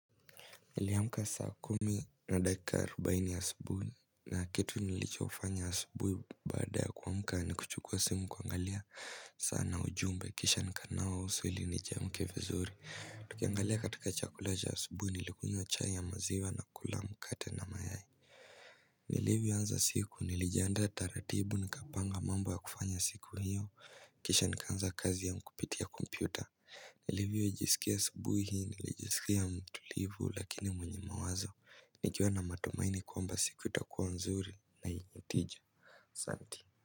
Niliamka saa kumi na dakika arubaini asubuhi na kitu nilichofanya asubuhi baada ya kuamka ni kuchukua simu kuangalia saa na ujumbe kisha nikanawa uso ili nijiamke vizuri Tukiangalia katika chakula cha asubuhi nilikunywa chai ya maziwa na kula mkate na mayai nilivyo anza siku nilijiaanda taratibu nikapanga mambo ya kufanya siku hio kisha nikaanza kazi yangu kupitia kompyuta nilivyo jisikia subuhi, nilijisikia mtulivu lakini mwenye mawazo nikiwa na matumaini kwamba siku itakuwa nzuri na inye tija Santi.